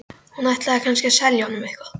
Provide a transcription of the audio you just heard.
Hún ætlaði kannski að selja honum eitthvað.